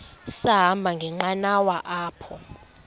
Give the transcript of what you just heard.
sahamba ngenqanawa apha